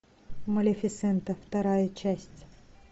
малефисента вторая часть